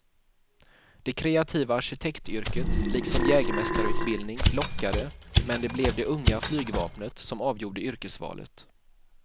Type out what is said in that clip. Det kreativa arkitektyrket liksom jägmästarutbildning lockade men det blev det unga flygvapnet som avgjorde yrkesvalet.